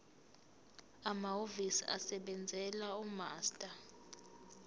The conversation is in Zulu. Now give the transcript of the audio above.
amahhovisi asebenzela umaster